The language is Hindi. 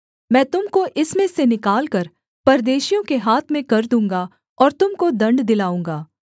मैं तुम को इसमें से निकालकर परदेशियों के हाथ में कर दूँगा और तुम को दण्ड दिलाऊँगा